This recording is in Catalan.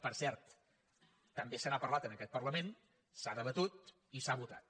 per cert també se n’ha parlat en aquest parlament s’ha debatut i s’ha votat